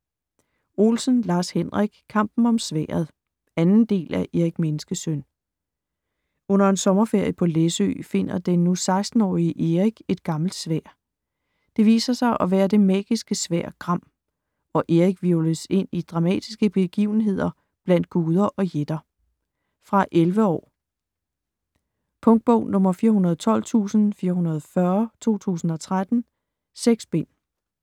Olsen, Lars-Henrik: Kampen om sværdet 2. del af Erik Menneskesøn. Under en sommerferie på Læsø, finder den nu 16-årige Erik et gammelt sværd. Det viser sig at være det magiske sværd GRAM, og Erik hvirvles ind i dramatiske begivenheder blandt guder og jætter. Fra 11 år. Punktbog 412440 2013. 6 bind.